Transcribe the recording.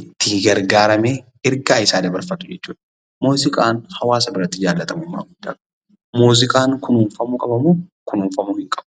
Ittiin gargaaramee ergaa isaa dabarfatu jechuudha. Muuziqaan haawaasa biratti jaallatamummaa guddaa qaba. Muuziqaan kunuunfamuu qaba moo, kunuunfamuu hin qabu?